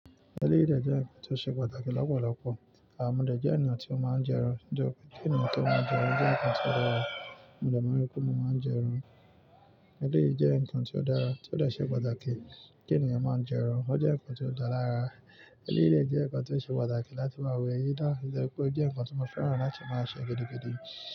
Eleyii dẹ̀ jẹ́ ǹkan tó ṣe pàtàkì lọ́pọ̀lọpọ̀. Àh mọ dẹ̀ jẹ́ ènìyàn tí o máa ń jẹun. Diẹ́ òfin tí ènìyàn tó máa ń jẹun jẹ́ ǹkan tó dára. Òmọ ìdẹ̀ máa ń rí pé mo máa ń jẹran. Ẹleyi jẹ́ ǹkan ti o dára, tí ó de ṣe pàtàkì kí ènìyàn máa jẹran. Ó jẹ́ ǹkan ti o dá lara. Ẹleyi dẹ̀ jẹ́ ǹkan tí ó ṣe pàtàkì láti máa wẹ̀ yí dá. Oje pé ó jẹ́ ǹkan tí mo fẹ́ràn láti máa ṣe gidi gidí.